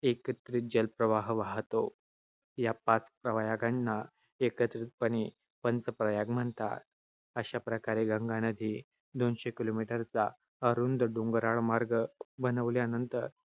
हा एकत्रित जलप्रवाह वाहतो. या पाच प्रयागांना एकत्रितपणे पंचप्रयाग म्हणतात. अशाप्रकारे गंगा नदी दोनशे kilometer चा अरुंद डोंगराळ मार्ग बनल्यानंतर